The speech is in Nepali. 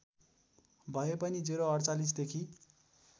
भए पनि ०४८ देखि